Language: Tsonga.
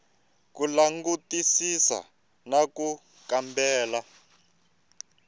ku langutisisa na ku kambela